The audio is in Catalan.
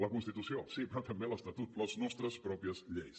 la constitució sí però també l’estatut les nostres pròpies lleis